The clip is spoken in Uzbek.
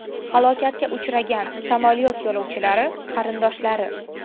Halokatga uchragan samolyot yo‘lovchilari qarindoshlari.